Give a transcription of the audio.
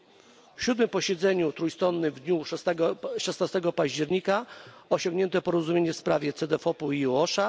Na siódmym posiedzeniu trójstronnym w dniu 16 października osiągnięto porozumienie w sprawie Cedefopu i EU OSHA.